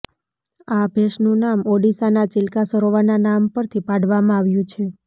આ ભેંસનું નામ ઓડીસાના ચિલ્કા સરોવરના નામ પરથી પાડવામાં આવ્યુ છે